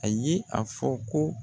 A ye a fɔ ko